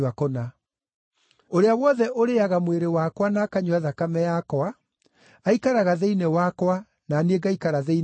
Ũrĩa wothe ũrĩĩaga mwĩrĩ wakwa na akanyua thakame yakwa aikaraga thĩinĩ wakwa na niĩ ngaikara thĩinĩ wake.